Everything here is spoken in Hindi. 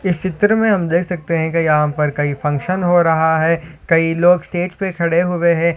इस चित्र मे हम देख सकते है की यहा पर कही फंक्शन हो रहा है कई लोग स्टेज पे खड़े हो गए है।